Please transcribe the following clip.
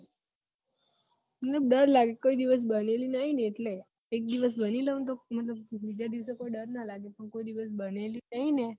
મતલબ ડર લાગે કોઈ દિવસ બનેલી નહિ એટલે એક દિવસ બની લઉં તો બીજા દિવસે ડર ના લાગે કોઈ દિવસ બનેલી નહિ ને